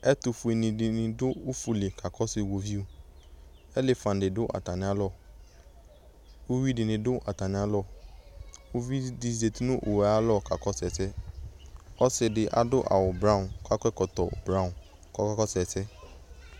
Ɛtʋfuenɩ dɩnɩ dʋ ufu li kakɔsʋ iɣoviu Elefan dɩ dʋ atamɩalɔ Uyui dɩnɩ dʋ atamɩalɔ Uvi dɩ zati nʋ owu yɛ ayalɔ kakɔsʋ ɛsɛ Ɔsɩ dɩ adʋ awʋ brawɔn kʋ akɔ ɛkɔtɔ brawɔn kʋ ɔkakɔsʋ ɛsɛ